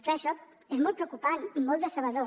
clar això és molt preocupant i molt decebedor